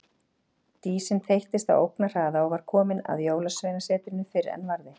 Dísin þeyttist á ógnarhraða og var komin að Jólasveinasetrinu fyrr en varði.